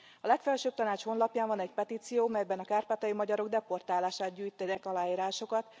A Legfelsőbb Tanács honlapján van egy petíció, melyben a kárpátaljai magyarok deportálására gyűjtenek aláírásokat.